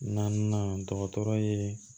Naaninan dɔgɔtɔrɔ ye